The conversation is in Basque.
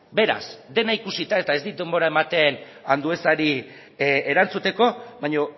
beraz dena ikusita eta ez dit denbora ematen anduezari erantzuteko baina